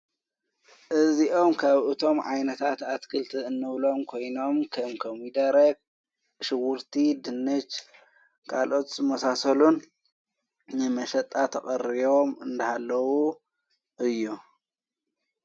እዚኦም ካብ እቶም ዓይነታትኣትክልቲ እንብሎም ኮይኖም ከንከሚይደረኽ ሽዉርቲ ድኔጅ ካልኦት መሳሰሉን የመሸጣ ተቐርዎም እንዳሃለዉ እዩ::